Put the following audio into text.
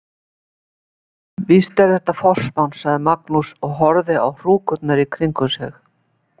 Já, víst er þetta forsmán, sagði Magnús og horfði á hrúkurnar í kringum sig.